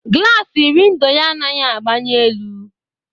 Glassi windo yá anaghị agbanyi elu